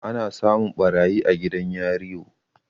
ana samun ɓarayi a gidan yario